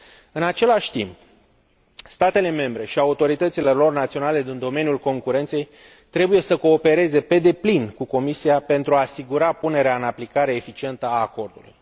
În același timp, statele membre și autoritățile lor naționale din domeniul concurenței trebuie să coopereze pe deplin cu Comisia pentru a asigura punerea în aplicare eficientă a acordului.